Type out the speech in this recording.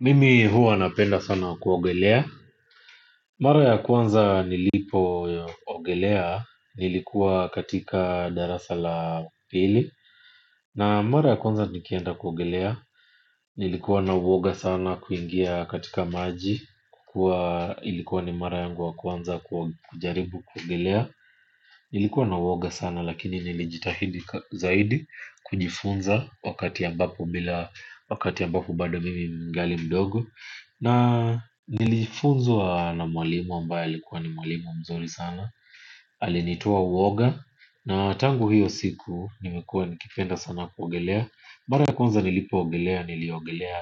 Mimi huwa napenda sana kuogelea. Mara ya kwanza nilipoogelea nilikuwa katika darasa la pili. Na mara ya kwanza nikienda kuogelea nilikuwa na uwoga sana kuingia katika maji. Kukua ilikuwa ni mara yangu wa kwanza kujaribu kuogelea. Nilikuwa na uwoga sana lakini nilijitahidi zaidi. Kujifunza wakati ambapo bila wakati ambapo bado mimi ningali mdogo. Na nilifunzwa na mwalimu ambaye alikuwa ni mwalimu mzuri sana. Alinitoa uwoga. Na tangu hiyo siku nimekuwa nikipenda sana kuogelea. Mara ya konza nilipoogelea niliogelea